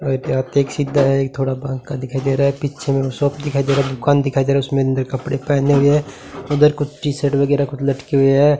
और वहीं पे हाथ एक सीधा है एक थोड़ा बांका दिखाई दे रहा है पिच्छे में शॉप दिखाई दे रहा दुकान दिखाई दे रहा है उसमें अंदर कपड़े पहने हुए हैं उधर कुछ टी शर्ट वगैरह कुछ लटके हुए हैं।